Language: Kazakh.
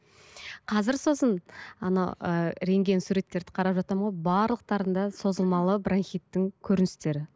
қазір сосын ана ыыы рентген суреттерді қарап жатамын ғой барлықтарында созылмалы бронхиттің көріністері